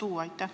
Aitäh!